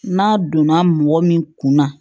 N'a donna mɔgɔ min kun na